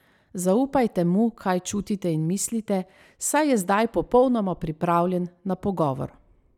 Zaupajte mu, kaj čutite in mislite, saj je zdaj popolnoma pripravljen na pogovor.